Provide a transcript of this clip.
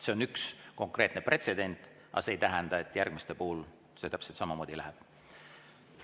See on üks konkreetne pretsedent, aga see ei tähenda, et järgmiste puhul täpselt samamoodi läheb.